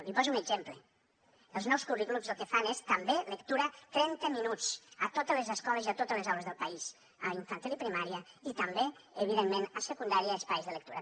li poso un exemple els nous currículums el que fan és també lectura trenta minuts a totes les escoles i a totes les aules del país a infantil i primària i també evidentment a secundària i espais de lectura